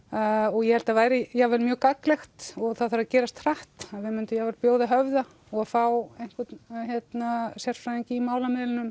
og ég held það væri jafnvel mjög gagnlegt og það þarf að gerast hratt að við myndum jafnvel bjóða höfða og fá einhvern sérfræðing í málamiðlunum